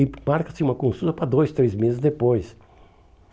E marca-se uma consulta para dois, três meses depois.